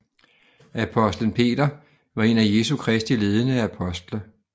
Apostlen Peter var en af Jesu Kristi ledende apostle